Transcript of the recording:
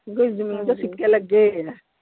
ਓਹਦੀ ਜਮੀਨ ਤੇ ਸਿੱਕੇ ਲੱਗੇ ਹੈਗੇ ਆ।